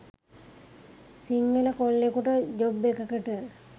සිංහල කොල්ලෙකුට ජොබ් එකකට